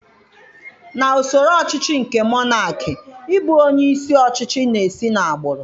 Na usoro ọchịchị nke monakị, ị bụ onye isi ọchịchị na-esi na agbụrụ.